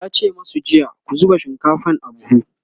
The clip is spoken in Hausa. yace masu jiya " ku zuba shinkafan a buhu!"